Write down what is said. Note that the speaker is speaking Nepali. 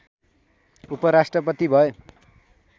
उपराष्ट्रपति भए